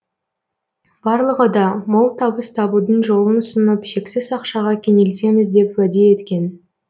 барлығы да мол табыс табудың жолын ұсынып шексіз ақшаға кенелтеміз деп уәде еткен